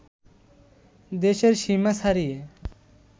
দেশের সীমা ছাড়িয়ে